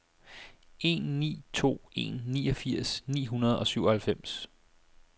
en ni to en niogfirs ni hundrede og syvoghalvfems